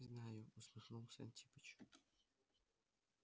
знаю усмехался антипыч